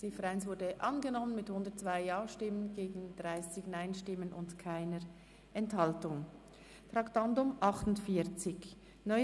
Die Ziffer 1 ist überwiesen worden mit 102 Ja- gegen 30 Nein-Stimmen bei keiner Enthaltungen.